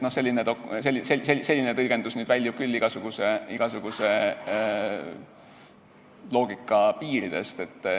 Selline tõlgendus väljub küll igasuguse loogika piiridest.